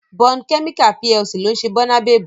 Bond Chemical PLC ló ń ṣe Bónabebu